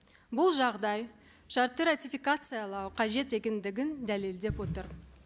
бұл жағдай шартты ратификациялау қажет екендігін дәлелдеп отыр